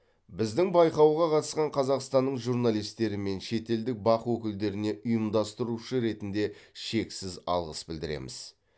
біздің байқауға қатысқан қазақстанның журналистері мен шетелдік бақ өкілдеріне ұйымдастырушы ретінде шексіз алғыс білдіреміз